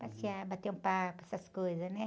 Passear, bater um papo, essas coisas, né?